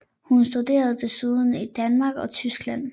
Hun studerede desuden i Danmark og Tyskland